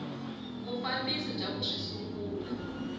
vufambisi bya ku swi sungula